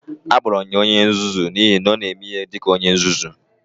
Akpọrọ m ya onye nzuzu n'ihi na ọ na-eme ihe dị ka onye nzuzu.